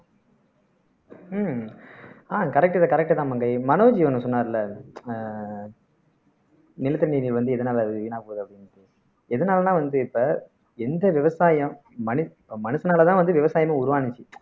ஹம் ஆஹ் correct தான் correct தான் மங்கை மனோஜ் ஒண்ணு சொன்னாருல ஆஹ் நிலத்தடி நீர் வந்து எதனாலே வீணாப் போகுது அப்படின்னுட்டு எதனாலன்னா வந்து இப்ப எந்த விவசாயம் மனு மனுஷனாலதான் வந்து விவசாயமே உருவானுச்சு